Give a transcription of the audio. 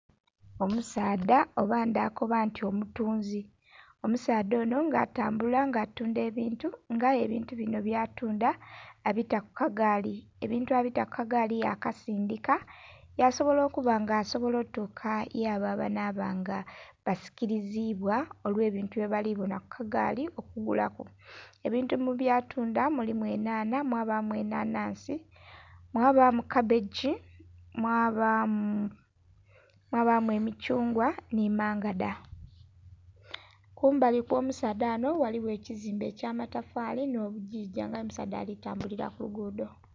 Omusaadha oba ndha koba nti omutunzi. Omusaadha onho nga atambula nga atundha ebintu nga aye ebintu binho byatundha abita ku kagaali, ebintu abita ku kagaali yakasindhika yasobola okuba nga asobola otuuka y'abo abanhaba nga basikiliziibwa olw'ebintu bye bali bonha ku kagaali ogulaku. Ebintu mu byatundha mulimu enhanha, mwabaamu enhanhansi, mwabaamu kabbegi, mwabaamu emithungwa nhi mangadha. Kumbali okw'omusaadha ghanho ghaligho ekizimbe eky'amatafaali nh'obugigya nga aye omusaadha ali tambulila ku luguudho.